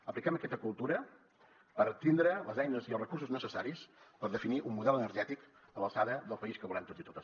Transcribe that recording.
apliquem aquesta cultura per tindre les eines i els recursos necessaris per definir un model energètic a l’alçada del país que volem tots i totes